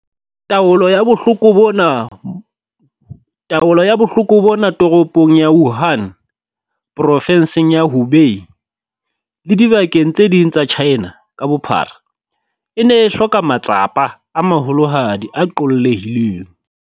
Taolo ya bohloko bona taolo ya bohloko bona Toropong ya Wuhan, Provenseng ya Hubei le dibakeng tse ding tsa China ka bophara, e ne e hloka matsapa a maholohadi a qollehileng.